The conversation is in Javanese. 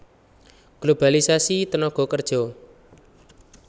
Globalisasi tenaga kerja